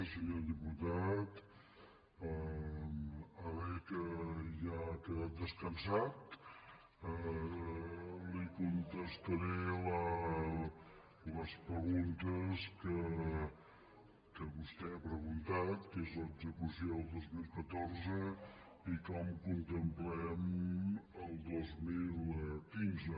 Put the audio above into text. senyor diputat ara que ja ha quedat descansat li contestaré les preguntes que vostè ha preguntat que és l’execució del dos mil catorze i com contemplem el dos mil quinze